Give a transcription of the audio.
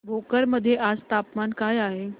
भोकर मध्ये आज तापमान काय आहे